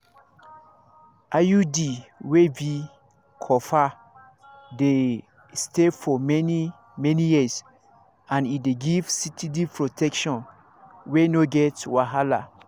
iud wey be copper dey stay for many-many years and e dey give steady protection wey no get wahala.